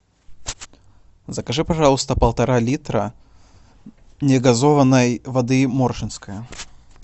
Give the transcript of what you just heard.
закажи пожалуйста полтора литра негазованной воды моршинская